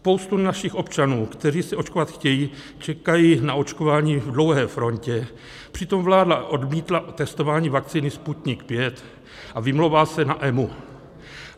Spousta našich občanů, kteří se očkovat chtějí, čekají na očkování v dlouhé frontě, přitom vláda odmítla testování vakcíny Sputnik V a vymlouvá se na EMA.